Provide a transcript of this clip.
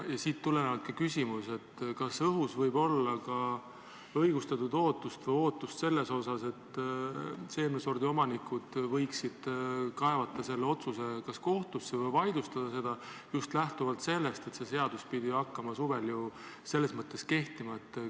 Siit tulenevalt küsimus: kas õhus võib olla ka õigustatud ootust, et seemnesordi omanikud võiksid kas kaevata selle otsuse kohtusse või selle vaidlustada, just lähtuvalt sellest, et see seadus pidi hakkama juba suvel kehtima?